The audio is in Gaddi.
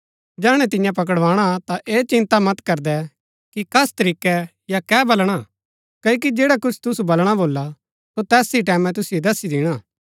जैहणै तियां पकड़वाणा ता ऐह चिन्ता मत करदै कि कस तरीकै या कै बलणा क्ओकि जैडा कुछ तुसु बलणा भोला सो तैस ही टैमैं तुसिओ दसी दिणा